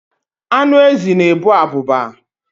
Anụ ezi na-ebu abụba.